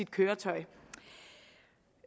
køretøj det